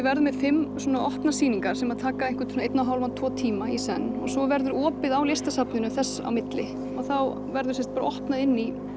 verðum með fimm opnar sýningar sem taka einhvern einn og hálfan tvo tíma í senn og svo verður opið á listasafninu þess á milli og þá verður sem sagt opnað inn í